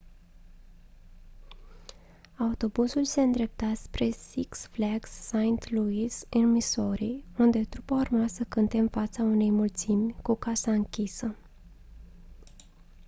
autobuzul se îndrepta spre six flags st louis în missouri unde trupa urma să cânte în fața unei mulțimi cu casa închisă